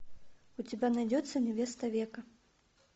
у тебя найдется невеста века